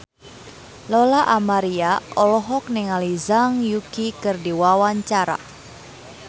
Lola Amaria olohok ningali Zhang Yuqi keur diwawancara